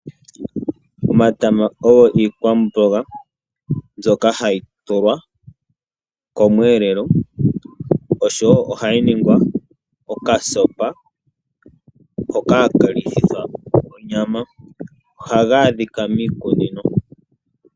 Omatama ogo iikwamboga mbyoka hayi tulwa komweelelo oshowo ohayi ningwa okasopa hoka haka lithithwa onyama. Ohaga adhika miikunino.